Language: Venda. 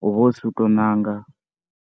hu vha hu si u tou ṋanga.